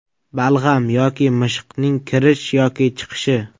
Balg‘am yoki mishiqning kirish yoki chiqishi.